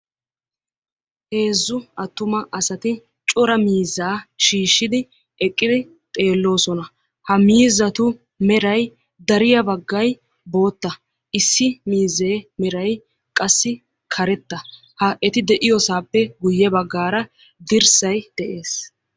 heezzu attuma asati cora miizzaa shiishshidi eqqidi xeelloosona; ha miizatu meray dariyaa baggay bootta; issi miize qassi meray karetta; ha eti de'iyoosappe guyye baggar dirssay de'ees.